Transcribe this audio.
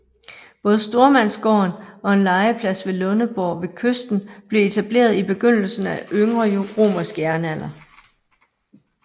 Både stormandsgården og en ladeplads ved Lundeborg ved kysten blev etableret i begyndelsen af yngre romersk jernalder